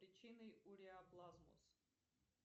причины уреаплазма